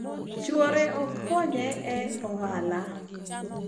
chuore ok konye e ohala